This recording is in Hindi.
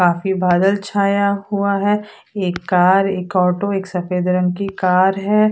काफी बादल छाया हुआ है । एक कर एक ओटो एक सफेद रंग कि कार है उप--